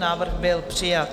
Návrh byl přijat.